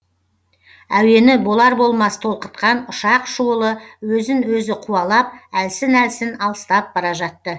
әуені болар болмас толқытқан ұшақ шуылы өзін өзі қуалап әлсін әлсін алыстап бара жатты